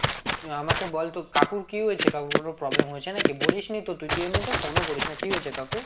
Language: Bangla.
আমাকে বল তোর কাকুর কি হয়েছে? কাকুর কোনো problem হয়েছে নাকি? বলিস নি তো তুই, তুই তো এমনিতে phone ও করিস না, কি হয়েছে কাকুর?